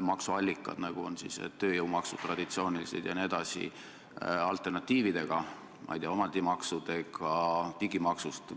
maksuallikad, nagu on traditsioonilised tööjõumaksud jne, alternatiividega, näiteks nende digimajanduse maksudega.